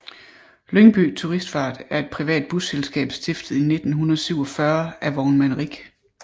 Lyngby Turistfart er et privat busselskab stiftet i 1947 af vognmand Rich